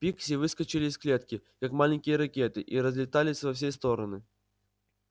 пикси выскочили из клетки как маленькие ракеты и разлетались во все стороны